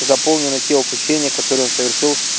заполнено те опущения которое он совершил